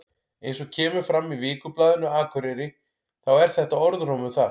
Eins og kemur fram í Vikublaðinu Akureyri þá er þetta orðrómur þar.